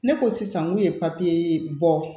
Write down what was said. Ne ko sisan n k'u ye papiye bɔ